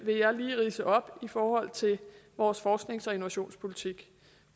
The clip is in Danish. jeg lige vil ridse op i forhold til vores forsknings og innovationspolitik